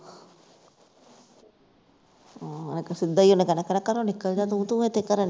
ਆਹੋ ਇਕ ਸਿੱਧਾ ਹੀ ਉਹਨੇ ਕਹਿਣਾ ਘਰੋਂ ਨਿਕਲ ਜਾ ਤੂੰ ਕੀ ਇੱਥੇ ਕਰਨ ਡਈ